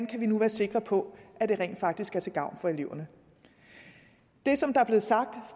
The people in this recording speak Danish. kan være sikre på at det rent faktisk er til gavn for eleverne det som er blevet sagt